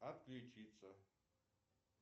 отключиться